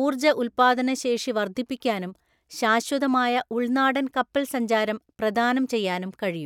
ഊർജ്ജ ഉൽപ്പാദന ശേഷി വർദ്ധിപ്പിക്കാനും ശാശ്വതമായ ഉൾനാടൻ കപ്പൽസഞ്ചാരം പ്രധാനാം ചെയ്യാനും കഴിയും.